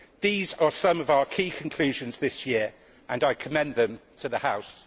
age. These are some of our key conclusions this year, and I commend them to the House.